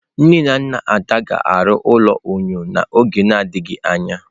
Nne na nna Ada ga-arụ ụlọ enyo n'oge na-adịghị anya.